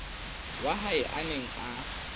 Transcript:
wa hae a neng a